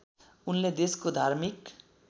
उनले देशको धार्मिक